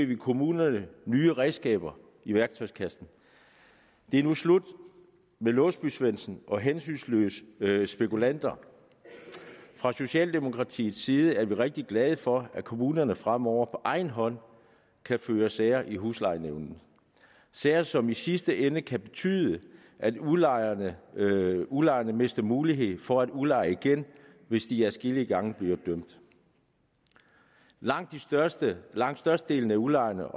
vi kommunerne nye redskaber i værktøjskassen det er nu slut med låsby svendsen og hensynsløse spekulanter fra socialdemokratiets side er vi rigtig glade for at kommunerne fremover på egen hånd kan føre sager i huslejenævnet sager som i sidste ende kan betyde at udlejerne udlejerne mister mulighed for at udleje igen hvis de adskillige gange bliver dømt langt størstedelen langt størstedelen af udlejerne